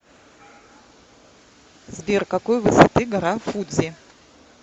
сбер какой высоты гора фудзи